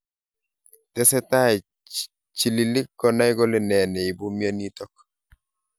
Tesetai chililiik konai kole nee neibu mionitok.